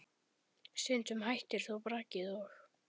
Stundum hættir þó brakið og